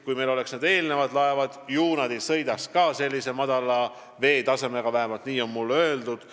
Kui meil oleks praegu eelmised laevad, siis ilmselt ei sõidaks ka need madala veetasemega, vähemalt nii on mulle öeldud.